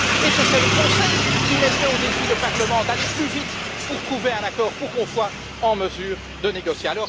Ce serait le Conseil qui mettrait au défi le Parlement d'aller plus vite pour trouver un accord afin qu'on soit en mesure de négocier.